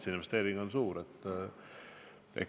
See investeering on seega suur.